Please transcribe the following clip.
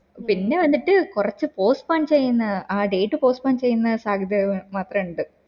പിന്നെ വന്നിട്ട് കൊറച്ച് postpone ആ date postpone ചെയ്യുന്ന സത്യത മാത്ര ഇണ്ട്